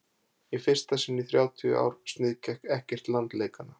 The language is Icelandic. í fyrsta sinn í þrjátíu ár sniðgekk ekkert land leikana